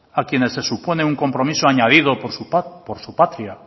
a quienes se supone un compromiso añadido por su patria